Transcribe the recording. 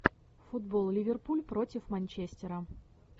футбол ливерпуль против манчестера